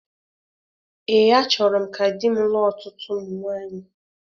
Ee, achọrọ m ka di m lụọ ọtụtụ ụmụ nwaanyị